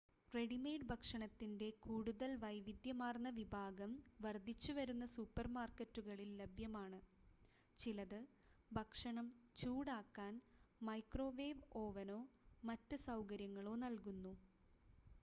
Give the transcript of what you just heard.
readymade ഭക്ഷണത്തിൻ്റെ കൂടുതൽ വൈവിധ്യമാർന്ന വിഭാഗം വർദ്ധിച്ചുവരുന്ന സൂപ്പർമാർക്കറ്റുകളിൽ ലഭ്യമാണ് ചിലത് ഭക്ഷണം ചൂടാക്കാൻ മൈക്രോവേവ് ഓവനോ മറ്റ് സൗകര്യങ്ങളോ നൽകുന്നു